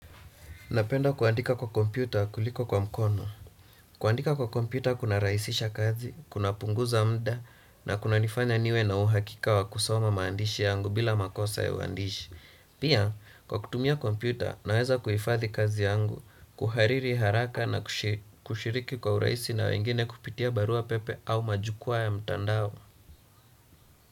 Napenda kuandika kwa kompyuta kuliko kwa mkono. Kuandika kwa kompyuta kuna rahisisha kazi, kuna punguza mda na kunanifanya niwe na uhakika wa kusoma maandishi yangu bila makosa ya uandishi. Pia, kwa kutumia kompyuta naweza kuhifadhi kazi yangu, kuhariri haraka na kushiriki kwa uraisi na wengine kupitia barua pepe au majukua ya mtandao.